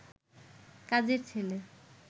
কাজের ছেলে